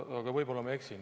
Aga võib-olla ma eksin.